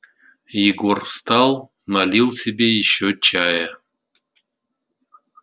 егор встал налил себе ещё чая